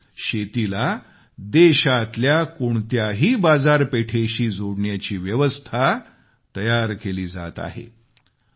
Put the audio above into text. म्हणजेच शेतीला देशातल्या कोणत्याही बाजारपेठेशी जोडण्याची व्यवस्था तयार केली जात आहे